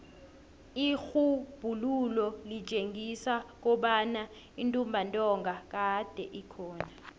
irhubhululo litjengisa kobana intumbantonga kade ikhona